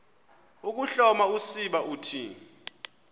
ukuhloma usiba uthi